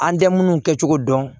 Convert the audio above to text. An tɛ minnu kɛ cogo dɔn